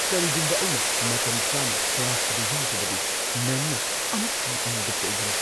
ꯀꯔꯤꯒꯨꯝꯕ ꯑꯩꯅ ꯃꯇꯝꯆꯥꯅ ꯀ꯭ꯂꯥꯁ ꯑꯗꯨ ꯌꯥꯎꯗ꯭ꯔꯕꯗꯤ, ꯃꯦꯝꯅ ꯑꯃꯨꯛ ꯍꯟꯅ ꯑꯩꯉꯣꯟꯗ ꯆꯩꯒꯅꯤ꯫